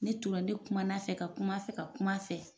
Ne tora ne kuman'a fɛ ka kuma a fɛ ka kuma fɛ.